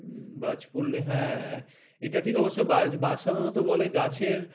বাজ পড়লে হ্যাঁ এটা ঠিক অবশ্য বাজ বাজ সাধারণত বলে গাছের